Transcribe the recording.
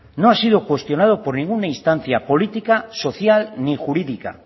no ha sido cuestionado por ninguna instancia política social ni jurídica